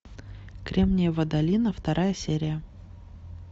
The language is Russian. кремниевая долина вторая серия